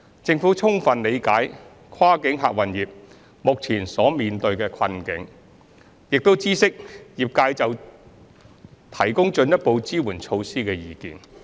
政府充分理解跨境客運業目前所面對的困境，並已知悉業界就提供進一步支援措施的意見。